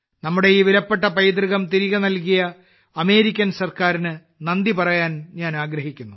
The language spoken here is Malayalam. നമ്മുടെ ഈ വിലപ്പെട്ട പൈതൃകം തിരികെ നൽകിയ അമേരിക്കൻ സർക്കാരിന് നന്ദി പറയാൻ ഞാൻ ആഗ്രഹിക്കുന്നു